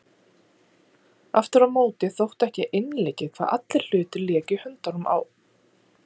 Aftur á móti þótti ekki einleikið hvernig allir hlutir léku í höndunum á